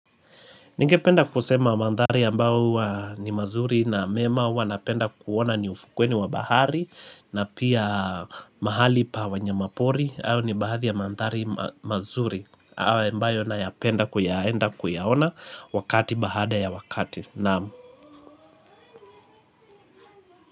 Ningependa kusema mandhari ambayo ni mazuri na mema wanapenda kuona ni ufukweni wa bahari na pia mahali pa wanyamapori hayo ni baadhi ya mandhari mazuri hayo ambayo nayapenda kuyaenda kuyaona wakati baada ya wakati.